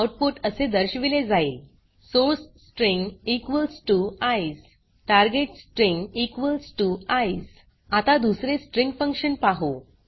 output असे दर्शविले जाईल सोर्स स्ट्रिंग ईसीई टार्गेट स्ट्रिंग ईसीई आता दुसरे स्ट्रिंग फंक्शन पाहु